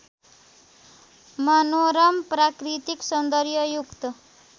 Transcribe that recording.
मनोरम प्राकृतिक सौन्दर्ययुक्त